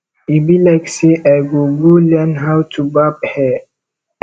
e be like say i go go learn how to barb hair